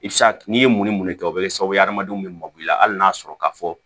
I bɛ se ka n'i ye mun ni mun de kɛ o bɛ kɛ sababu ye adamadenw bɛ mabɔ i la hali n'a sɔrɔ ka fɔ